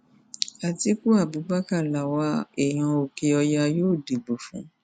atiku abubakar làwa èèyàn òkèọyà yóò dìbò fún